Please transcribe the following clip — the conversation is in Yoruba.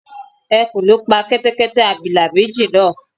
Ẹkùn ló pa Kẹ́tẹ́kẹ́tẹ́ abilà méjì náà